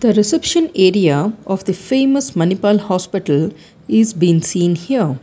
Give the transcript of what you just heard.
the reception area of the famous manipal hospital is being seen here.